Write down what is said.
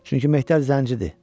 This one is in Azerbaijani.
Çünki Mehdər zəngidir.